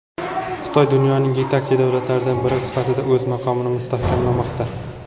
Xitoy dunyoning yetakchi davlatlaridan biri sifatida o‘z maqomini mustahkamlamoqda.